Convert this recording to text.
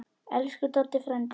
Elsku Doddi frændi.